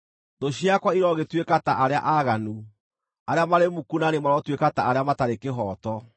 “Thũ ciakwa irogĩtuĩka ta arĩa aaganu, arĩa marĩ muku na niĩ marotuĩka ta arĩa matarĩ kĩhooto!